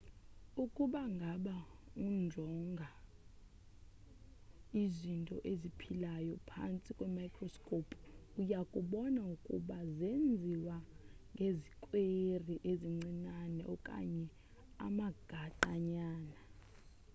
ukuba ngaba unjonga izinto eziphilayo phantsi kwemicroscope uyakubona ukuuba zenziwe ngezikweri ezincinane okanye amagaqa nyana